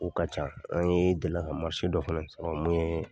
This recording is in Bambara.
O ka ca an ye delila ka dɔ fana sɔrɔ mun ye